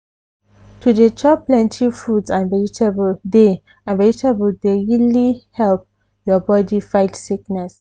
to dey chop plenty fruits and vegetable dey and vegetable dey really help your body fight sickness.